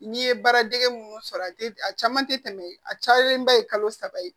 N'i ye baara dege minnu sɔrɔ a tɛ a caman tɛ tɛmɛ a camanba ye kalo saba ye